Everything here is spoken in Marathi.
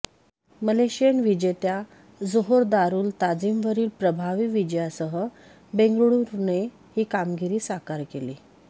मलेशियन विजेत्या जोहोर दारुल ताझीमवरील प्रभावी विजयासह बेंगळुरूने ही कामगिरी साकार केली